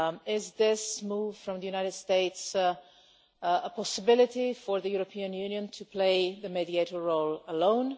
Is this move from the United States a possibility for the European Union to play the mediator role alone?